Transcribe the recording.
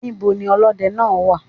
Níbo ni olódẹ náà wà?